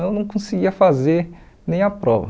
Eu não conseguia fazer nem a prova.